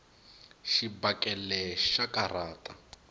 xibakele xa karhata